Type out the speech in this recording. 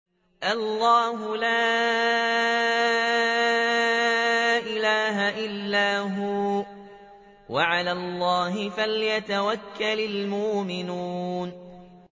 اللَّهُ لَا إِلَٰهَ إِلَّا هُوَ ۚ وَعَلَى اللَّهِ فَلْيَتَوَكَّلِ الْمُؤْمِنُونَ